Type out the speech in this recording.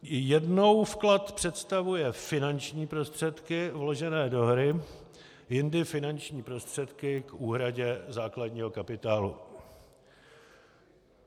Jednou vklad představuje finanční prostředky vložené do hry, jindy finanční prostředky k úhradě základního kapitálu.